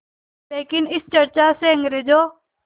लेकिन इस चर्चा से अंग्रेज़ों